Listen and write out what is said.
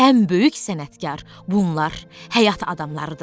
Ən böyük sənətkar bunlar həyat adamlardır.